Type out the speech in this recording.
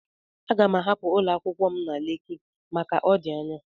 Aga m ahapụ ụlọ akwụkwọ m na Leki maka na ọ dị anya.